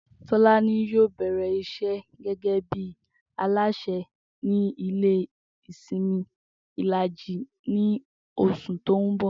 Tó̩lání yóò bè̩rè̩ isé̩ gé̩gé̩ bí alásè ní ilé ìsimi Ìlàjì ní os̩ù tó ń bò̩